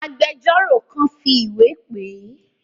Agbẹjọ́rò kan fi ìwé pè é.